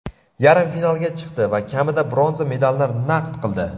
yarim finalga chiqdi va kamida bronza medalni naqd qildi.